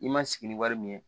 I ma sigi ni wari min ye